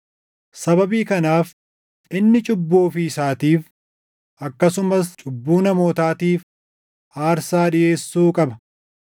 Sababii kanaaf inni cubbuu ofii isaatiif, akkasumas cubbuu namootaatiif aarsaa dhiʼeessuu qaba.